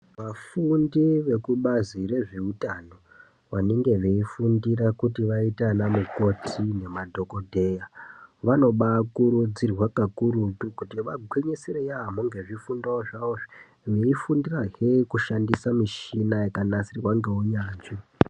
Vafundi vekubazi rezveutano, vanenge veifundira kuti vaite ana mukoti nemadhokodheya, vanobaa kurudzirwa kakurutu kuti vagwinyisire yaampho nezvifundo zvavo. Veifundirahe zvekushandisa mishina yakanasirwa neunyanzvi.